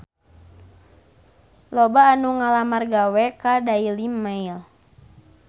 Loba anu ngalamar gawe ka Daily Mail